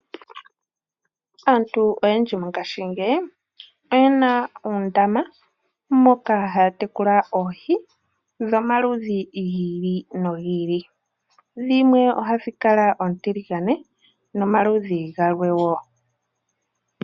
Aantu oyendji mongashingeyi oyena oondama moka haya tekula oohi domaludhi gi ili nogi ili dhimwe ohadhikala oontiligane nomaludhi galwe woo.